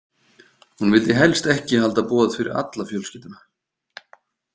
Hún vildi helst ekki halda boð fyrir alla fjölskylduna.